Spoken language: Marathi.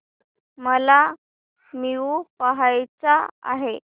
मला मूवी पहायचा आहे